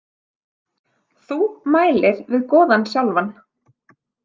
Þú mælir við goðann sjálfan.